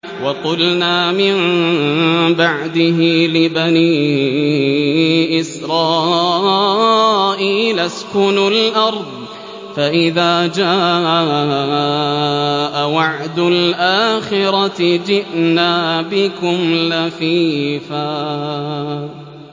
وَقُلْنَا مِن بَعْدِهِ لِبَنِي إِسْرَائِيلَ اسْكُنُوا الْأَرْضَ فَإِذَا جَاءَ وَعْدُ الْآخِرَةِ جِئْنَا بِكُمْ لَفِيفًا